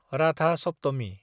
Ratha Saptami